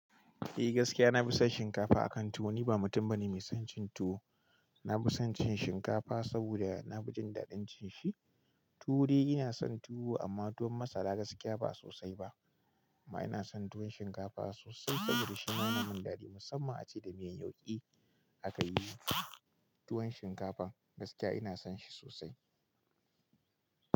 Eh gaskiya na fi son shinkafa akan tuwo. Ni ba mutum bane mai son cin tuwo. Na fi son cin shinkafa saboda nafi jin dadin cin shi. Tuwo dai ina son tuwo amma tuwon masara gaskiya ba sosai ba. Amma ina son tuwon shinkafa sosai saboda shima ya min dadi musamman ace da miyan yauki aka yi tuwon shinkafar gaskiya ina son shi sosai.